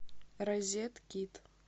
розеткит